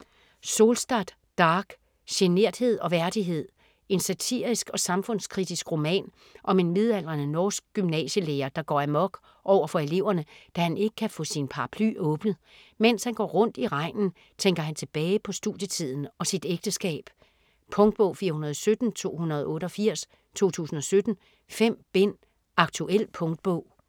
Solstad, Dag: Generthed og værdighed En satirisk og samfundskritisk roman om en midaldrende norsk gymnasielærer der går amok overfor eleverne, da han ikke kan få sin paraply åbnet. Mens han går rundt i regnen tænker han tilbage på studietiden og sit ægteskab. Punktbog 417288 2017. 5 bind. Aktuel punktbog